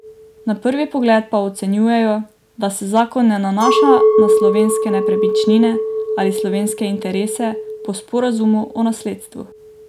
Na prvi pogled pa ocenjujejo, da se zakon ne nanaša na slovenske nepremičnine ali slovenske interese po sporazumu o nasledstvu.